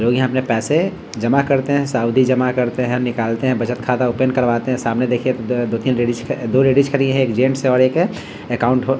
लोग यहाँ अपने पैसे जमा करते है साथ ही जमा करते है निकालते है बचट खाता ओपन करवाते है सामने देखिए दो दो-तीन दो लेडीज ख दो लेडीज खड़ी है एक जेंट्स है और एक एकाउंट हो --